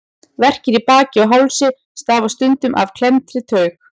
Verkir í baki og hálsi stafa stundum af klemmdri taug.